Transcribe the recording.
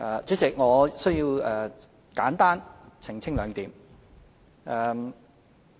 主席，我需要簡單澄清兩點。